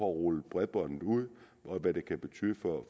rullet bredbåndet ud hvad det kan betyde for